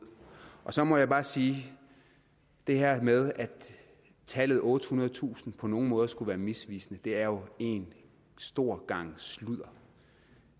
så må jeg bare sige at det her med at tallet ottehundredetusind på nogen måder skulle være misvisende er jo en stor gang sludder